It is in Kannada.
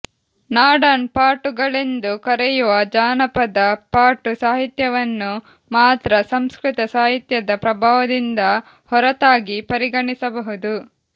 ನಾಡನ್ ಪಾಟುಗಳೆಂದು ಕರೆಯುವ ಜಾನಪದ ಪಾಟು ಸಾಹಿತ್ಯವನ್ನು ಮಾತ್ರ ಸಂಸ್ಕೃತ ಸಾಹಿತ್ಯದ ಪ್ರಭಾವದಿಂದ ಹೊರತಾಗಿ ಪರಿಗಣಿಸಬಹುದು